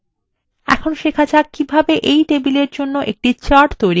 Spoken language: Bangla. এখন শেখা যাক এই table জন্য কিভাবে একটি chart তৈরী করতে পারি